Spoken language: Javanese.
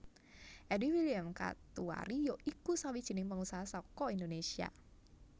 Eddy William Katuari ya iku sawijining pengusaha saka Indonesia